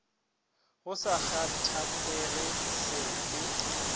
go sa kgathatšege se fe